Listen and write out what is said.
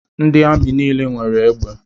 Ndị amị nile nwere egbe.